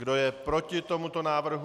Kdo je proti tomuto návrhu?